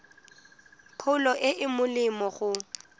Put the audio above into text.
pholo e e molemo go